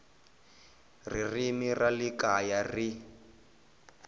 ririmi ra le kaya ri